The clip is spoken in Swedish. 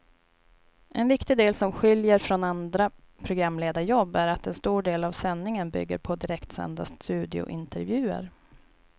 En viktig del som skiljer från andra programledarjobb är att en stor del av sändningen bygger på direktsända studiointervjuer.